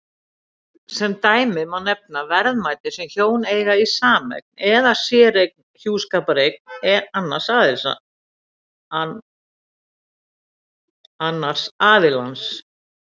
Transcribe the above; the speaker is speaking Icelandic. Sem dæmi má nefna verðmæti sem hjón eiga í sameign eða sérgreind hjúskapareign annars aðilans.